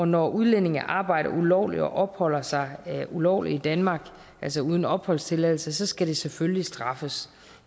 når udlændinge arbejder ulovligt og opholder sig ulovligt i danmark altså uden opholdstilladelse skal det selvfølgelig straffes